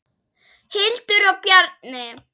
Hildur og Bjarni.